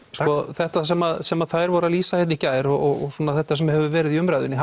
þetta sem sem þær voru að lýsa í gær og þetta sem hefur verið í umræðunni